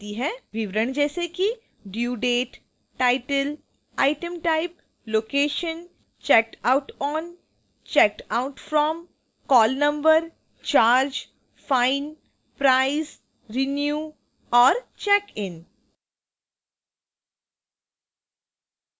विवरण जैसे कि: due date title item type location checked out on checked out from call number charge fine price renew और check in